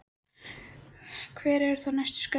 Kristín Ýr Gunnarsdóttir: Hver eru þá næstu skref?